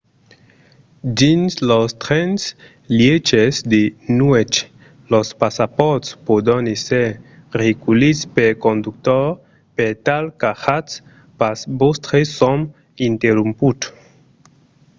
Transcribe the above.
dins los trens-lièches de nuèch los passapòrts pòdon èsser reculhits pel conductor per tal qu'ajatz pas vòstre sòm interromput